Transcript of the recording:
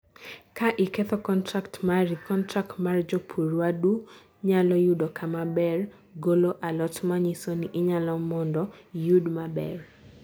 kaa iketho contract mari, contract mar japur wadu nyalo yudo kamaber golo alot manyiso ni ilalo mondo iyud maber